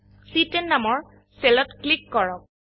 চি10 নামৰ সেলত ক্লিক কৰক